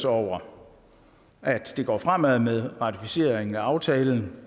over at det går fremad med ratificeringen af aftalen